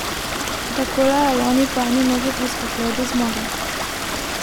Takole je lani po eni nogi priskakljal do zmage.